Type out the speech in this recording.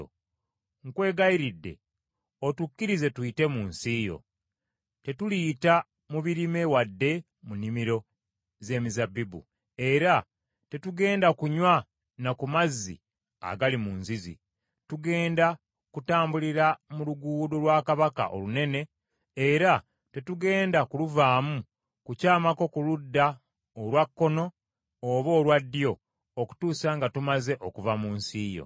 “Nkwegayirira otukkirize tuyite mu nsi yo. Tetuliyita mu birime wadde mu nnimiro z’emizabbibu, era tetugenda kunywa na ku mazzi agali mu nzizi. Tugenda kutambulira mu Luguudo lwa Kabaka Olunene, era tetugenda kuluvaamu kukyamako ku ludda olwa kkono oba olwa ddyo okutuusa nga tumaze okuva mu nsi yo.”